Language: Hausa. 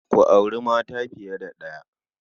Ku auri mata fiye da ɗaya.